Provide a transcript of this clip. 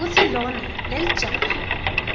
kutsi lona lelijaha